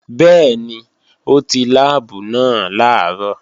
Bẹ́ẹ̀ni, ó ti láàbù náà làárọ̀